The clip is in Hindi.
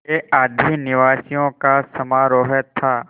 के आदिनिवासियों का समारोह था